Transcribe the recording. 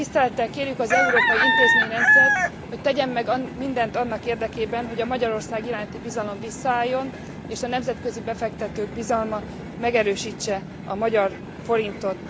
Tisztelettel kérjük az európai intézményrendszert, hogy tegyen meg mindent annak érdekében, hogy a Magyarország iránti bizalom visszaálljon és a nemzetközi befektetők bizalma megerősítse a magyar forintot.